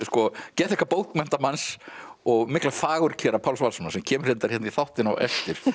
geðþekka bókmenntamanns og mikla fagurkera Páls Valssonar sem kemur reyndar hérna í þáttinn á eftir